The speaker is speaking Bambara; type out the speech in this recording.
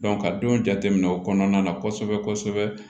ka don jateminɛ o kɔnɔna na kosɛbɛ kosɛbɛ